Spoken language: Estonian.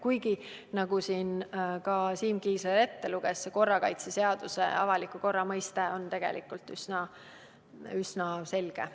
Kuigi nagu Siim Kiisler ette luges, on korrakaitseseaduses esitatud avaliku korra mõiste tegelikult üsna selge.